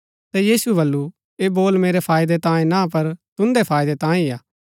ता यीशुऐ बल्लू ऐह बोल मेरै फायदै तांयें ना पर तुन्दै फायदै तांयें ही हा